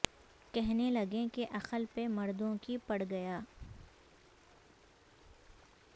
کہنے لگیں کہ عقل پہ مردوں کی پڑ گیا